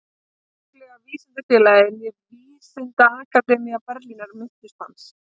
Hvorki Konunglega vísindafélagið né Vísindaakademía Berlínar minntust hans.